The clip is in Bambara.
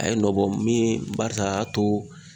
A ye nɔ bɔ min ye barisa a y'a to